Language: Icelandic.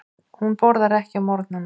Hún borðar ekki á morgnana.